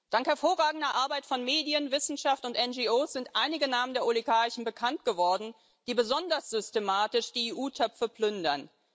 Dank hervorragender Arbeit von Medien, Wissenschaft und NGOs sind einige Namen der Oligarchen bekannt geworden, die besonders systematisch die EU Töpfe plündern.